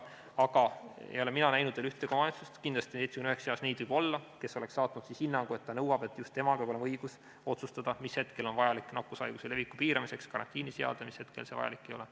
Aga ei ole mina näinud veel ühtegi omavalitsust – kindlasti, 79 seas võib neid olla –, kes oleks saatnud hinnangu, et ta nõuab, et just temal peab olema õigus otsustada, mis hetkel on vajalik nakkushaiguse leviku piiramiseks karantiini seadmine ja mis hetkel see vajalik ei ole.